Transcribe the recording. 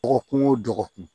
Dɔgɔkun o dɔgɔkun